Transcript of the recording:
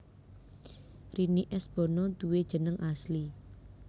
Rini S Bono duwé jeneng asli